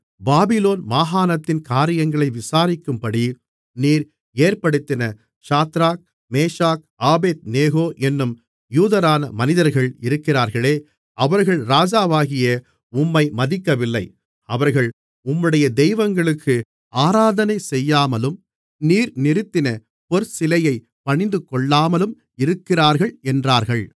Babylon மாகாணத்தின் காரியங்களை விசாரிக்கும்படி நீர் ஏற்படுத்தின சாத்ராக் மேஷாக் ஆபேத்நேகோ என்னும் யூதரான மனிதர்கள் இருக்கிறார்களே அவர்கள் ராஜாவாகிய உம்மை மதிக்கவில்லை அவர்கள் உம்முடைய தெய்வங்களுக்கு ஆராதனை செய்யாமலும் நீர் நிறுத்தின பொற்சிலையைப் பணிந்துகொள்ளாமலும் இருக்கிறார்கள் என்றார்கள்